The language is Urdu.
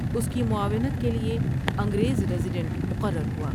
اس کی معاونت کے لیے انگریز ریزیڈنٹ مقرر ہوا۔